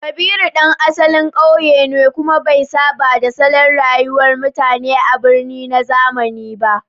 Kabiru ɗan asalin ƙauye ne, kuma bai saba da salon rayuwar mutane a birni na zamani ba.